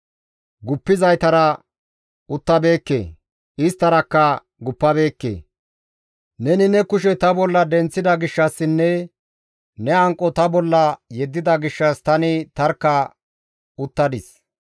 Guppizaytara uttabeekke; isttarakka guppabeekke. Neni ne kushe ta bolla denththida gishshassinne ne hanqo ta bolla yeddida gishshas tani tarkka uttadis.